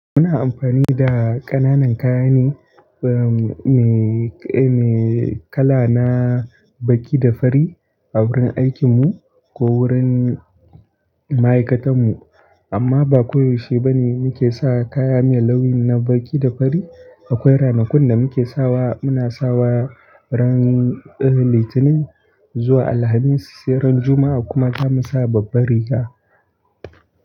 Muna amfani da ƙananan kayane me kala na baƙi da fari a wurin aikin mu ko wurin ma'aikatan mu amma ba koyaushe bane muke sawa kaya me launi na baƙi da fari. Akwai ranakun da muke sawa, muna sawa ran Litinin zuwa Alhamis sai ran Juma'a kuma zamu sa babbar riga.